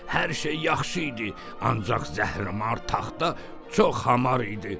Hər şey yaxşı idi, ancaq zəhrimar taxta çox hamar idi.